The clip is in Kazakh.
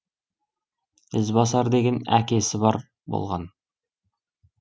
ізбасар деген әкесі бар болған